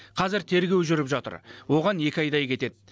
қазір тергеу жүріп жатыр оған екі айдай кетеді